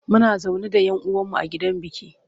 Muna zaune da yan uwan mu a gidan biki.